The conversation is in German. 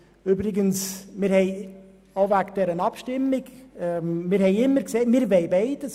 Was die angesprochene Abstimmung betrifft, wollen wir beides;